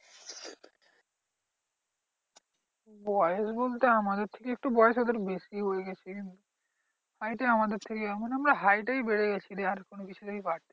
বয়স বলতে আমাদের থেকে একটু বয়স ওদের বেশি হয়ে গেছে। height এ আমাদের থেকে এখন আমরা height এই বেড়ে গেছি রে আর কোনো কিছু তেই বারিনি।